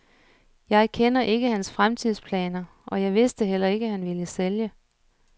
Jeg kender ikke hans fremtidsplaner, og jeg vidste heller ikke, han ville sælge.